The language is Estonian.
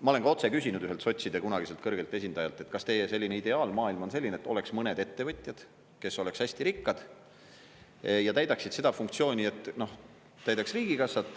Ma olen ka otse küsinud ühelt sotside kunagiselt kõrgelt esindajalt, kas teie selline ideaalmaailm on selline, et oleks mõned ettevõtjad, kes oleks hästi rikkad ja täidaksid seda funktsiooni, et täidavad riigikassat,